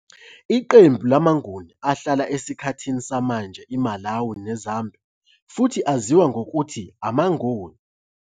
Iqembu lamaNguni ahlala esikhathini samanje iMalawi neZambia futhi aziwa ngokuthi ngamaNgoni.